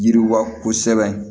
Yiriwa kosɛbɛ